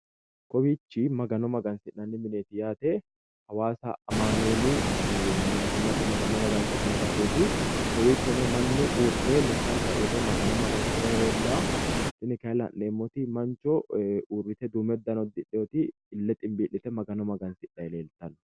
Kowiichi magano magansi'nanni mineeti yaate hawaasa amanueeli mittimmate magano magansi'nayi baseeti kowichono mannu uurre lekkansayi uurre magano magansirayi leellawo tini kaye la'neemmoti mancho uurrite duume uddano uddidheyooti ille ximbii'lite magano magansidhayi leeltawo